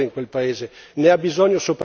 Ne ha bisogno soprattutto l'Europa!